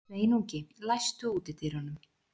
Sveinungi, læstu útidyrunum.